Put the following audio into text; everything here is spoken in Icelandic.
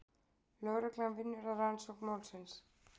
Lögreglan vinnur að rannsókn málsins